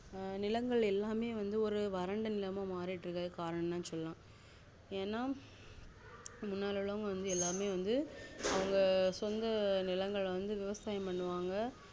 ஆஹ் ஹான் நிலங்கள் எல்லாம் வந்து ஒரு வறண்ட நிலங்களாமாரிற்றுக்க காரணம் சொல்லலாம் ஏனா முன்னாடி உள்ளவங்க வந்து எல்லாமே வந்து அவங்கசொந்த நிலங்கள் வந்து விவசாயம் பண்ணுவாங்க